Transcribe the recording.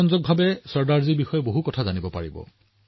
ই আপোনাক চৰ্দাৰ চাহাবৰ বিষয়ে আকৰ্ষণীয় ভাৱে জানিবলৈ সুযোগ দিব